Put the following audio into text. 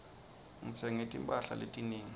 ngitsenge timphahla letinengi